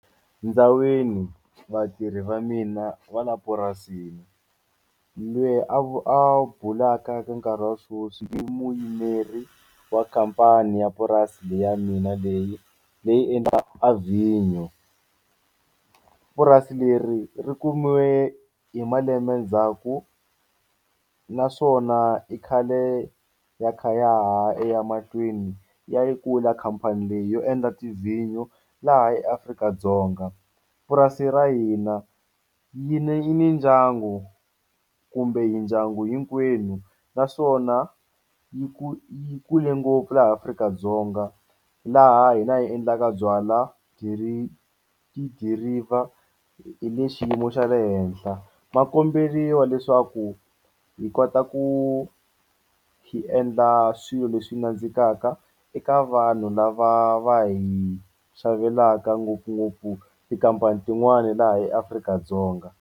Ndzawini vatirhi va mina va la purasini lweyi a a bulaka ka nkarhi wa swoswi i muyimeri wa khampani ya purasi leyi ya mina leyi leyi endla a vhinyo. Purasi leri ri kumiwe hi malembe ndzhaku naswona i khale ya kha ya ha ya mahlweni ya yi kula khampani leyi yo endla tivhinyo laha eAfrika-Dzonga. Yurasi ra hina yi ne yi ni ndyangu kumbe hi ndyangu hinkwenu naswona yi yi kule ngopfu laha Afrika-Dzonga laha hi la yi endlaka byalwa tidiriva hi le xiyimo xa le henhla ma komberiwa leswaku hi kota ku hi endla swilo leswi nandzikaka eka vanhu lava va hi xavelaka ngopfungopfu tikhampani tin'wani laha eAfrika-Dzonga.